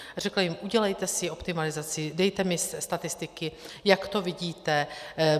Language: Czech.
Řekla jim, udělejte si optimalizaci, dejte mi statistiky, jak to vidíte.